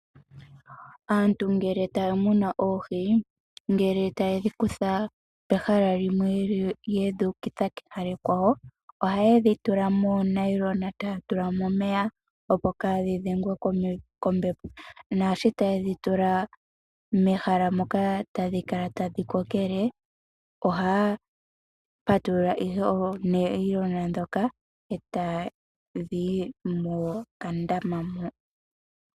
Aantu ngele taa muna oohi, ngele taye dhi kutha pehala limwe yedhi ukitha kehala ekwawo ohaye dhi tula moonayilona taya tula mo omeya opo kaa dhi dhengwe kombepo, naashi taye dhi tula mehala moka tadhi kala tadhi kokele oha ya patulula ihe oonayilona dhoka e tadhi yi mokandama mo.